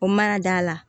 O ma ɲa